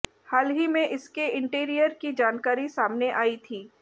हाल ही में इसके इंटीरियर की जानकारी सामने आई थी